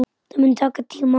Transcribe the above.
Það mun taka tíma.